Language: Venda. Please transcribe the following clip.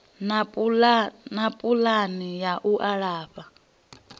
na pulani ya u alafha